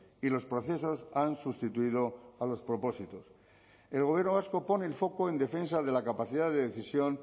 y los procesos han sustituido a los propósitos el gobierno vasco pone el foco en defensa de la capacidad de decisión